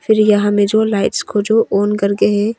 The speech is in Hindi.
फिर यहा मे जो लाइट्स को जो ऑन करके है।